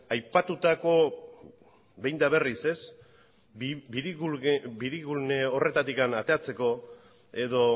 aipatutako behin eta berriz biribilgulne horretatik ateratzeko edo